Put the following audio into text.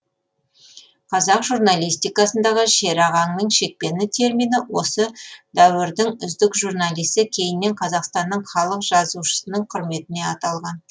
қазақ журналистикасындағы шерағаңның шекпені термині осы дәуірдің үздік журналисі кейіннен қазақстанның халық жазушысының құрметіне аталған